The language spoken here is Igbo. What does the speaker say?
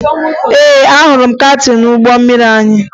Ee, ahụrụ m kaptịn ụgbọ mmiri anyị